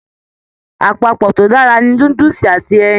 Àpapọ to dára ni núdúsí àti ẹyìn.